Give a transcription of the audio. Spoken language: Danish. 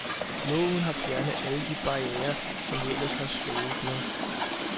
Loven har fjernet alle de barrierer, som vi ellers har sloges med.